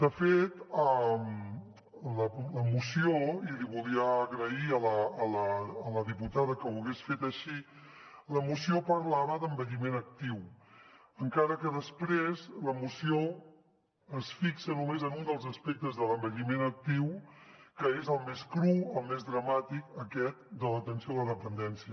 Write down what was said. de fet la moció i li volia agrair a la diputada que ho hagués fet així parlava d’envelliment actiu encara que després la moció es fixa només en un dels aspectes de l’envelliment actiu que és el més cru el més dramàtic aquest de l’atenció a la dependència